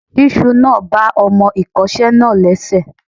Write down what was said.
Ṣísù náà ba ọmọ ìkọ́ṣẹ́ náà lẹ́sẹ̀.